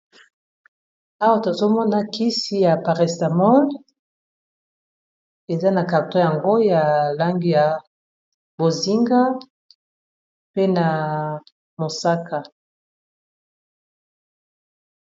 Awa tozomona kisi ya parasetamol eza na carton nayango ya langi ya bozinga pe na mosaka